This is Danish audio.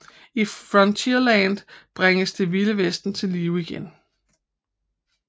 I Frontierland bringes Det Vilde Vesten til live igen